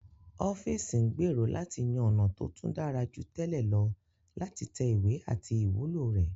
Ọ́fíìsì ń gbèrò láti yan ọ̀nà tó tún dára jù tẹ́lẹ̀ lọ láti tẹ ìwé àti ìwúlò rẹ̀